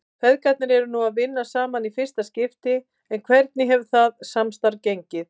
Feðgarnir eru nú að vinna saman í fyrsta skipti en hvernig hefur það samstarf gengið?